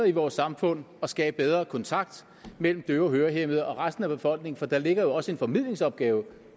i vores samfund og skaber bedre kontakt mellem døve hørehæmmede og resten af befolkningen for der ligger jo også en formidlingsopgave